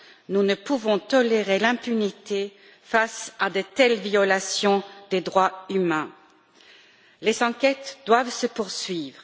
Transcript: Nous ne pouvons tolérer l'impunité face à de telles violations des droits de l'homme. Les enquêtes doivent se poursuivre.